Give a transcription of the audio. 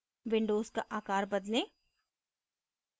windows का आकार बदलें